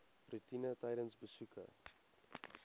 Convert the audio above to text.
roetine tydens besoeke